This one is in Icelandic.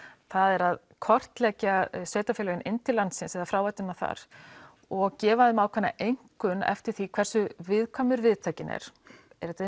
það er að kortleggja sveitafélögin inn til landsins fráveiturnar þar og gefa þeim ákveðna einkunn eftir því hversu viðkvæmur viðtakinn er er þetta